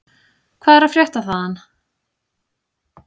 Hvað er að frétta þaðan?